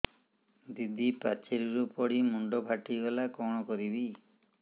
ଦିଦି ପାଚେରୀରୁ ପଡି ମୁଣ୍ଡ ଫାଟିଗଲା କଣ କରିବି